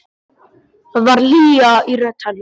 Það var hlýja í rödd hennar.